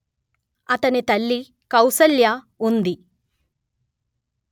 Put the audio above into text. అతని తల్లి కౌసల్య ఉంది